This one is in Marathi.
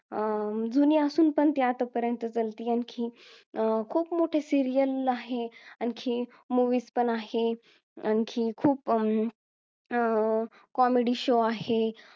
अं जुनी असून पण ते आतापर्यंत चालती आणखी अं खूप मोठी serial आहे आणखी movies पण आहे आणखी खूप अं comedy show आहे